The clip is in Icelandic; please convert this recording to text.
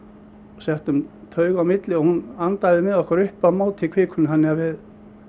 settum taug á milli hún andaði með okkur upp á móti kvikunni þannig að við